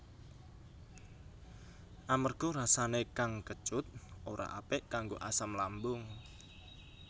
Amarga rasané kang kecut ora apik kanggo asam lambung